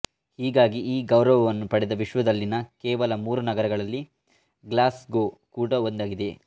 ಹೀಗಾಗಿ ಈ ಗೌರವವನ್ನು ಪಡೆದ ವಿಶ್ವದಲ್ಲಿನ ಕೇವಲ ಮೂರು ನಗರಗಳಲ್ಲಿ ಗ್ಲಾಸ್ಗೋ ಕೂಡಾ ಒಂದಾಗಿದೆ